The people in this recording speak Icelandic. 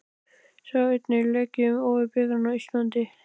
Sjá einnig: Leikið um Ofurbikarinn á Íslandi?